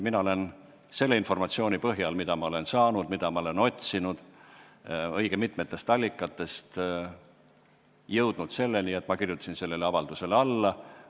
Mina olen selle informatsiooni põhjal, mida ma olen saanud ja mida olen õige mitmest allikast otsinud, jõudnud selleni, et kirjutasin sellele avaldusele alla.